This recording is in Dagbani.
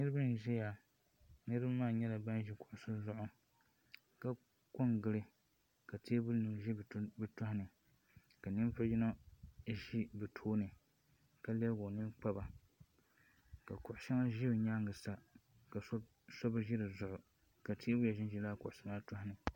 niriba n ʒɛya niriba maa nyɛla ban ʒɛ kusi zuɣ' ka kongili ka tɛbuli nim ʒɛ be tuhini ka nivugi yino ʒɛ bɛ tuuni ka lɛbigi o nɛni kpaba ka kuɣ' shɛŋa ʒɛ o nyɛŋa ka shɛbi ʒɛ di zuɣ' ka tɛbuya run ʒɛ laa nim maa tuuni